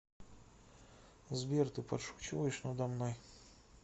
сбер ты подшучиваешь надо мной